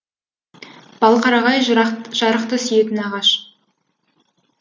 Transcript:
балқарағай жарықты сүйетін ағаш